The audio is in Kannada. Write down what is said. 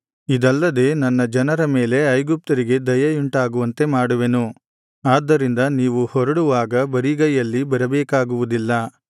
ಇದಲ್ಲದೆ ಈ ನನ್ನ ಜನರ ಮೇಲೆ ಐಗುಪ್ತ್ಯರಿಗೆ ದಯೆಯುಂಟಾಗುವಂತೆ ಮಾಡುವೆನು ಆದ್ದರಿಂದ ನೀವು ಹೊರಡುವಾಗ ಬರಿಗೈಯಲ್ಲಿ ಬರಬೇಕಾಗುವುದಿಲ್ಲ